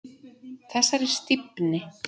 Þessari stífni.